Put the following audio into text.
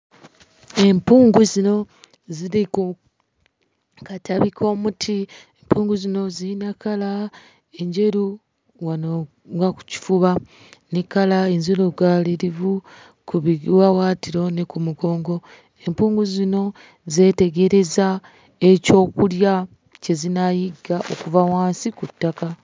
Empungu zino ziri ku katabi k'omuti, empungu zino zirina kkala enjeru wano nga ku kifuba ne kkala enzirugaalirivu ku biwawaatiro ne ku mugongo. Empungu zino zeetegereza ekyokulya kye zinaayigga okuva wansi ku ttaka.